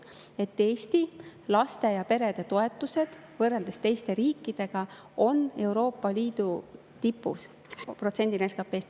Võrreldes teiste riikidega on Eesti laste ja perede toetused protsendina SKP-st Euroopa Liidu tipus.